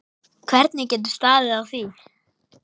Hvernig getur staðið á því.